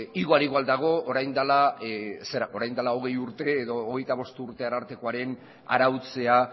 igual igual dago orain dela hogei urte edo hogeita bost urte arartekoaren arautzea